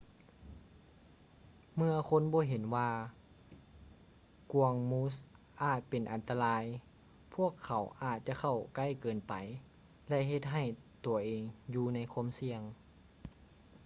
ເມື່ອຄົນບໍ່ເຫັນວ່າກວາງມູສອາດເປັນອັນຕະລາຍ ພວກເຂົາອາດຈະເຂົ້າໃກ້ເກີນໄປ ແລະ ເຮັດໃຫ້ຕົວເອງຢູ່ໃນຄວາມສ່ຽງ